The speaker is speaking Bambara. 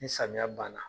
Ni samiya banna